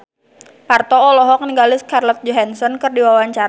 Parto olohok ningali Scarlett Johansson keur diwawancara